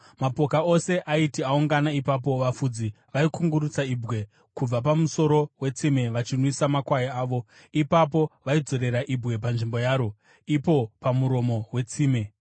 Mapoka ose aiti aungana ipapo, vafudzi vaikungurutsa ibwe kubva pamuromo wetsime vachinwisa makwai avo. Ipapo vaizodzorera ibwe panzvimbo yaro, ipo pamuromo wetsime.